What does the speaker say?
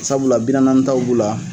Sabula bi nanani taw b'ula